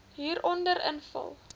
hieronder invul